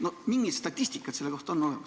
Kas on mingit statistikat selle kohta?